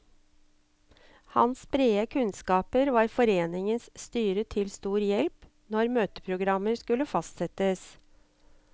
Hans brede kunnskaper var foreningens styre til stor hjelp når møteprogrammer skulle fastsettes.